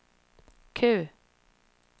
Q